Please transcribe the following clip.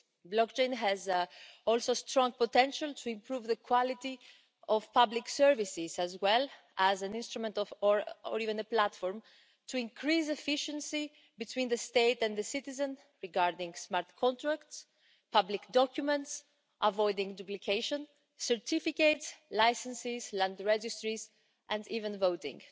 Blockchain also has strong potential to improve the quality of public services, and, as an instrument or indeed a platform, to increase efficiency between the state and the citizen in relation to smart contracts, public documents, avoiding duplication, certificates, licences, land registries and even voting.